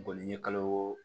Boli ni kalo